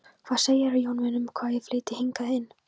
Hvað segirðu, Jón minn, um að ég flytji hingað inn